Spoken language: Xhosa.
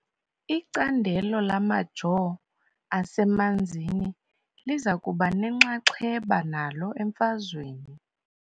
Icandelo lamajoo asemanzini liza kuba nenxaxheba nalo emfazweni .